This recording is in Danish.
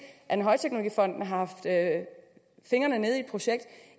at når højteknologifonden har haft fingrene nede i et projekt